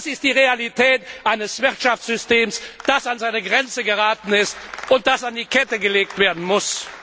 Das ist die Realität eines Wirtschaftssystems, das an seine Grenze geraten ist und das an die Kette gelegt werden muss.